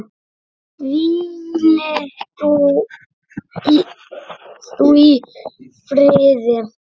Hvíli þú í friði.